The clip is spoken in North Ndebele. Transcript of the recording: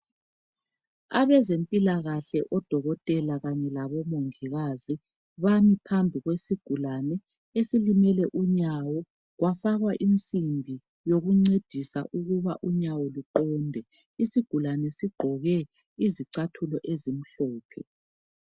Abezempilakahle, odokotela, kanye labomongikazi. Bami phambi kwesigulane, esilimele unyawo. Kwafakwa insimbi,n yokuncedisa, ukuba unyawo luqonde. Isigulane sigqoke izicathulo ezimhlophe.